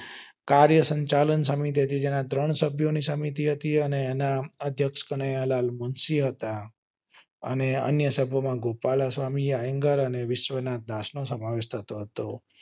કાર્ય સંચાલન સમિતિ કે જેની ત્રણ સભ્યો ની સમિતિ હતી અને તેના અધ્યક્ષ કનૈયાલાલ મુનશી હતા અને અન્ય સમિતિ માં ગોપાલા સ્વામી તાયાન્ગેર અને વિશ્વાનાથ નો સમાવેશ થતો હતો